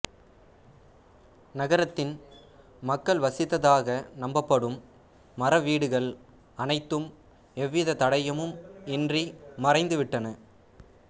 நகரத்தின் மக்கள் வசித்ததாக நம்பப்படும் மர வீடுகள் அனைத்தும் எவ்விதத் தடயமும் இன்றி மறைந்துவிட்டன